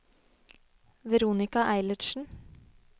Veronika Eilertsen